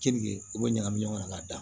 Keninge u bɛ ɲagami ɲɔgɔn na k'a da